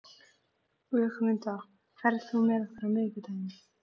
Ögmunda, ferð þú með okkur á miðvikudaginn?